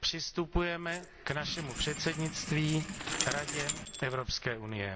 přistupujeme k našemu předsednictví Radě Evropské unie.